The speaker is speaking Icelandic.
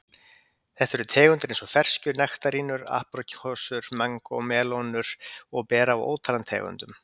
Þetta eru tegundir eins og ferskjur, nektarínur, apríkósur, mangó, melónur og ber af ótal tegundum.